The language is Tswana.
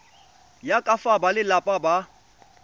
ya ka fa balelapa ba